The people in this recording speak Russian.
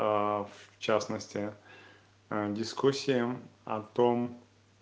аа в частности дискуссия о том